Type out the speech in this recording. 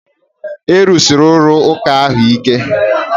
A rụsiri ụlọ ụka ahụ ike